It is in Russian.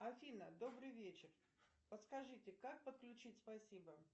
афина добрый вечер подскажите как подключить спасибо